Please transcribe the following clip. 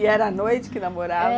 E era à noite que namorava?